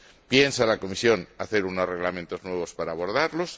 ¿Piensa la Comisión hacer unos reglamentos nuevos para abordarlos?